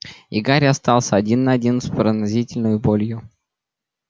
и гарри остался один на один с пронзительной болью